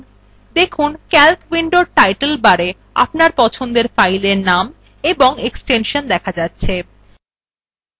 দেখুন calc window title bar আপনার পছন্দের ফাইলের নাম এবং এক্সটেনশন দেখা যাচ্ছে